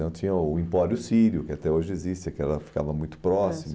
Tinha o impório sírio, que até hoje existe, que ela ficava muito próximo.